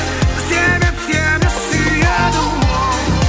себеп сені сүйеді оу